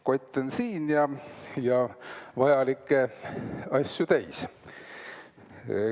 Kott on siin ja vajalikke asju täis.